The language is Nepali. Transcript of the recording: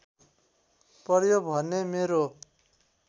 पर्‍यो भने मेरो